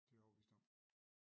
Det er jeg overbevist om